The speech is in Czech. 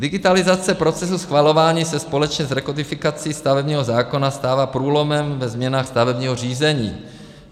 Digitalizace procesu schvalování se společně s rekodifikací stavebního zákona stává průlomem ve změnách stavebního řízení.